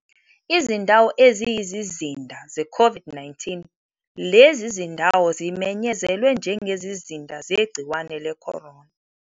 Izindawo eziyizizinda zeCOVID-19. Lezi zindawo zimenyezelwe njengezizinda zegciwane le-corona.